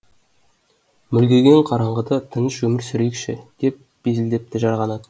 мүлгіген қараңғыда тыныш өмір сүрейікші деп безілдепті жарқанат